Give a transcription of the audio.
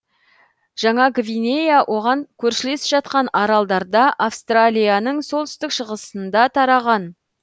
жаңа гвинея оған көршілес жатқан аралдарда австралиялың солтүстік шығысында тараған